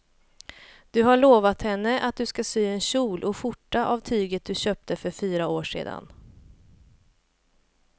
Du har lovat henne att du ska sy en kjol och skjorta av tyget du köpte för fyra år sedan.